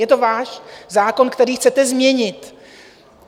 Je to váš zákon, který chcete změnit.